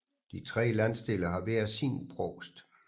De tre landsdele har hver sin provst